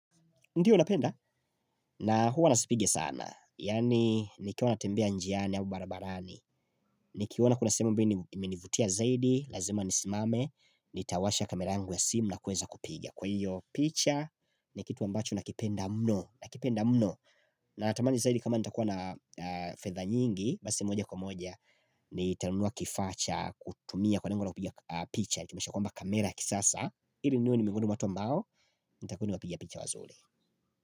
Ndiyo napenda na huwa nisipige sana yani nikiwa natembea njiani au barabarani Nikiona kuna sehemu ambayo imenivutia zaidi lazima nisimame Nitawasha camera yangu ya simu na kuweza kupiga kwa hiyo picha ni kitu ambacho nakipenda mno nakipenda mno Natamani zaidi kama nitakuwa na fedha nyingi basi moja kwa moja Nitanunua kifaa cha kutumia kwa lengo la kupiga picha nitumishe kwamba kamera kisasa ili niwe nimehuduma ambao nitakuwa napiga picha wazuri.